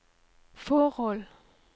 forhold